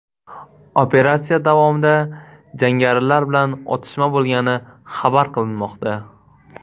Operatsiya davomida jangarilar bilan otishma bo‘lgani xabar qilinmoqda.